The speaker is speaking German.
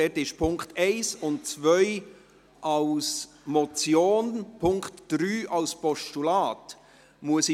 Dort liegen die Punkte 1 und 2 als Motion, und der Punkt 3 als Postulat vor.